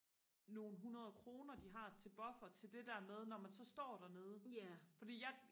nogle hundrede kroner de har til buffer til det der med når man så står dernede fordi jeg